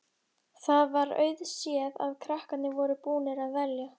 Það var auðséð að krakkarnir voru búnir að velja.